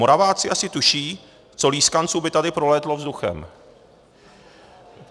Moraváci asi tuší, co lískanců by tady prolítlo vzduchem.